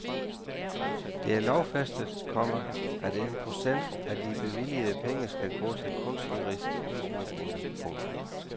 Det er lovfæstet, komma at en procent af de bevilgede penge skal gå til kunstneriske udsmykninger. punktum